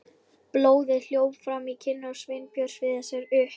Blóðið hljóp fram í kinnar Sveinbjörns við þessar upp